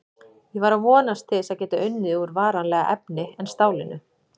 Ég var að vonast til þess að geta unnið úr varanlegra efni en stálinu.